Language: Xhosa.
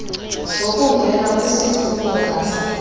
zokungena kwisifundo ngasinye